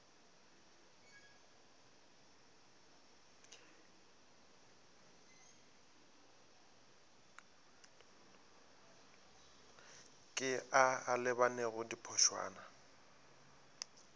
ke a a lebanego diphošwana